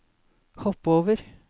hopp over